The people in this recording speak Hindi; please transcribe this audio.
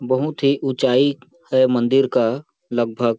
बहुत ही ऊंचाई है मंदिर का लगभग --